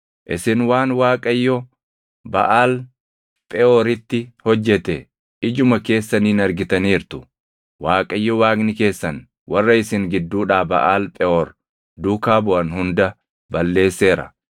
Isin waan Waaqayyo Baʼaal Pheʼooritti hojjete ijuma keessaniin argitaniirtu. Waaqayyo Waaqni keessan warra isin gidduudhaa Baʼaal Pheʼoor duukaa buʼan hunda balleesseera;